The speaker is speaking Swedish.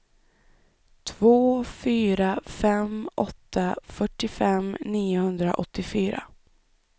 två fyra fem åtta fyrtiofem niohundraåttiofyra